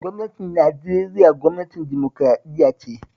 Gwamnatin Nigeria gwamnatin dimokuraɗiyya ce